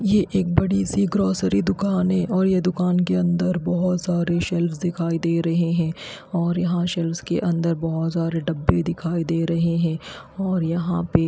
ये एक बड़ी सी ग्रोसरी दुकान है और ये दुकान के अंदर बहोत सारे सेल्फ दिखाई दे रहे हैं और यहाँ सेल्फ के अंदर बहोत सारे डब्बे दिखाई दे रहे हैं और यहां पे--